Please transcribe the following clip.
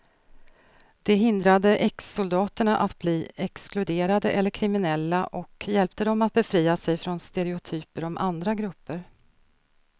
Det hindrade exsoldaterna att bli exkluderade eller kriminella och hjälpte dem att befria sig från stereotyper om andra grupper.